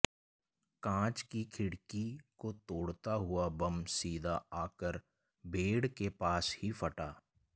कांच की खिड़की को तोड़ता हुआ बम सीधा आकर बेड के पास ही फटा